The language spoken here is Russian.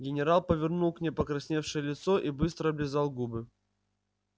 генерал повернул к ней покрасневшее лицо и быстро облизал губы